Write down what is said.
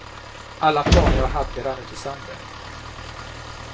Alla planer jag hade rann ut i sanden.